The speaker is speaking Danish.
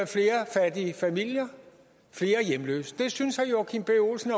flere fattige familier flere hjemløse det synes herre joachim b olsen